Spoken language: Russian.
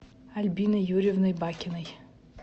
альбиной юрьевной бакиной